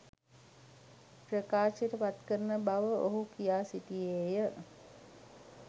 ප්‍රකාශයට පත්කරන බව ඔහු කියා සිටියේය.